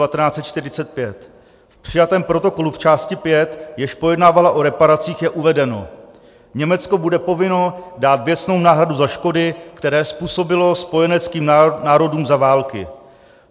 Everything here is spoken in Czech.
V přijatém protokolu v části pět, jež pojednávala o reparacích, je uvedeno: "Německo bude povinno dát věcnou náhradu za škody, které způsobilo spojeneckým národům za války."